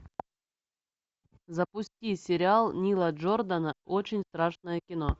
запусти сериал нила джордана очень страшное кино